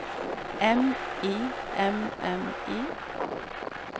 M I M M I